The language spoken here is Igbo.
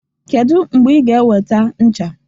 Kedu mgbe ị ga-eweta ncha?